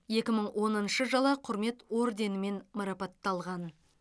екі мың оныншы жылы құрмет орденімен марапатталған